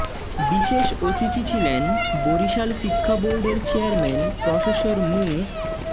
বিশেষ অতিথি ছিলেন বরিশাল শিক্ষা বোর্ডের চেয়ারম্যান প্রফেসর মু